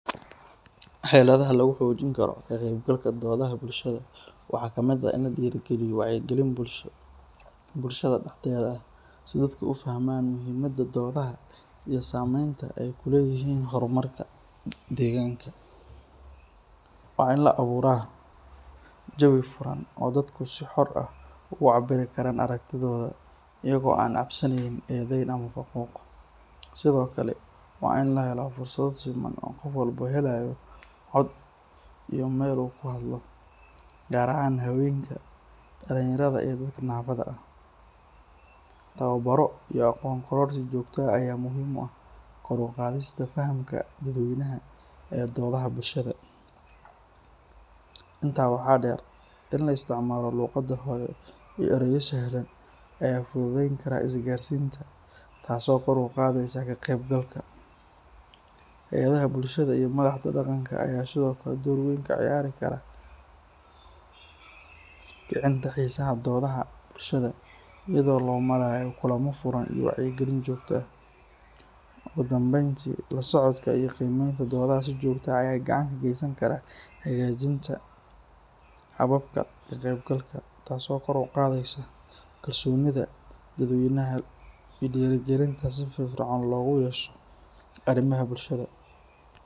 Xeladaha lagu xojin karo waxaa kamid ah in dadka aay fahmaan sameenta aay kukeyihn, in dadka si kooban ucabiraan, waa in la helo fursada siman, tababar iyo aqoon kororsi, in ka isticmaalo, taas oo kor uqaadeyso, door weyn kaciyareso, iyado loo marayo, ugu danbeyn si joogta, ka qeyb galka, taas oo kor uqadeysa kalsoonida bulshada.